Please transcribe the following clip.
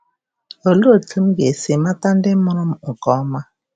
Olee otú m ga-esi mata ndị mụrụ m nke ọma?